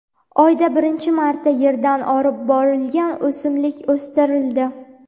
Oyda birinchi marta Yerdan olib borilgan o‘simlik o‘stirildi.